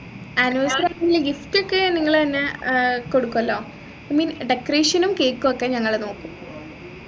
anniversary ക്കു gift ഒക്കെ നിങ്ങള് തെന്നെ ഏർ കൊടുക്കുമല്ലോ i mean decoration ഉം cake ഉം ഒക്കെ ഞങ്ങള് നോക്കും